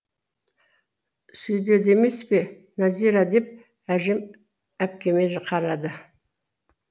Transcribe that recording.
сөйдеді емес пе нәзира деп әжем әпкеме қарады